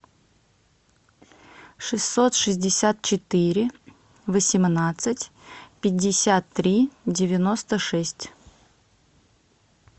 шестьсот шестьдесят четыре восемнадцать пятьдесят три девяносто шесть